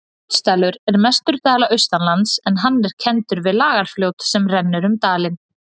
Fljótsdalur er mestur dala austanlands en hann er kenndur við Lagarfljót sem rennur um dalinn.